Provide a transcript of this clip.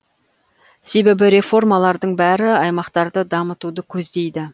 себебі реформалардың бәрі аймақтарды дамытуды көздейді